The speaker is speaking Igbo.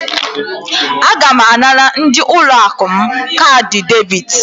Aga m anara ndị ụlọ akụ m kaadị debit.